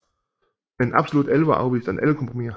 Med en absolut alvor afviste han alle kompromiser